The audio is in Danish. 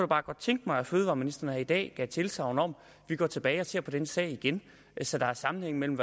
bare godt tænke mig at fødevareministeren her i dag gav tilsagn om at gå tilbage og se på den sag igen så der er sammenhæng mellem